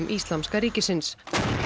Íslamska ríkisins